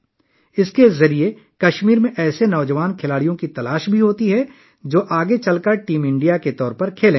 اس کے ذریعے کشمیر میں نوجوان کھلاڑیوں کی بھی تلاش ہے، جو بعد میں ٹیم انڈیا کے طور پر کھیلیں گے